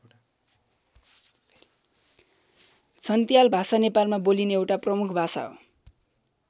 छन्त्याल भाषा नेपालमा बोलिने एउटा प्रमुख भाषा हो।